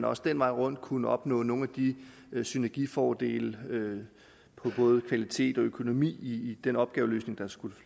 også den vej rundt kunne opnås nogle synergifordele på både kvalitet og økonomi i den opgaveløsning der skulle